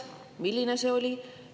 Milline see on?